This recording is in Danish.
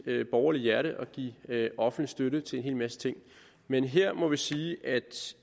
borgerlige hjerte at give offentlig støtte til en hel masse ting men her må vi sige at